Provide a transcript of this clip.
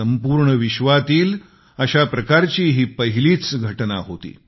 संपूर्ण विश्वातील अशा प्रकारची ही पहिलीच घटना होती